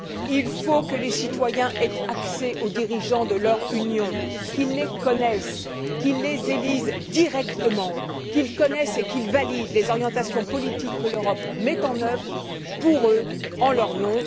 Il faut que les citoyens aient accès aux dirigeants de leur Union, qu'ils les connaissent, qu'ils les élisent directement, qu'ils connaissent et qu'ils valident les orientations politiques que l'Europe met en œuvre pour eux, en leur nom.